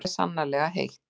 En það er sannarlega heitt.